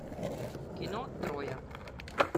кино троя